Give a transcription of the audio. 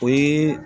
O ye